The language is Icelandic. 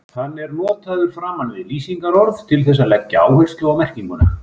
Hann er notaður framan við lýsingarorð til þess að leggja áherslu á merkinguna.